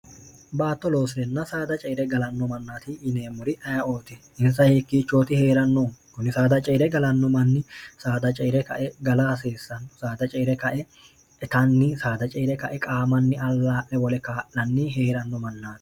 baatto loosirinna saada ceere galanno mannaati yineemmuri ayiooti insa hiikkiichooti hee'rannoh kunni saada ceere galanno manni saada ceere kae gala hasiissannu saada ceere kae itanni saada ceere kae qaamanni allaa'le wole kaa'lanni hee'ranno mannaati